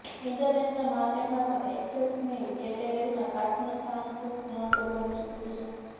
international માર્કેટમાં તો એક્સેસરીઝની કેટેગરીમાં કાચનું સ્થાન ખૂબ મોટું બની ચૂક્યું છે